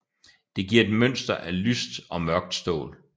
Det giver et mønster af lyst og mørkt stål